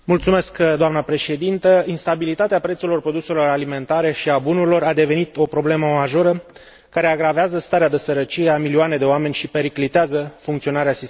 Instabilitatea prețurilor produselor alimentare și a bunurilor a devenit o problemă majoră care agravează starea de sărăcie a milioane de oameni și periclitează funcționarea sistemului financiar mondial.